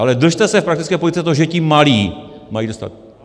Ale držte se v praktické politice toho, že ti malí mají dostat.